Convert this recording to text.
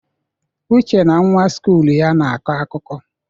Uche na nwa skụl ya na-akọ akụkọ.